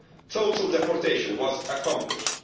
Total deportation was accomplished.